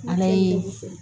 Ala ye